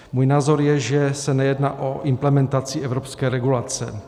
Můj názor je, že se nejedná o implementaci evropské regulace.